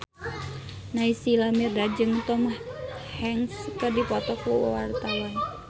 Naysila Mirdad jeung Tom Hanks keur dipoto ku wartawan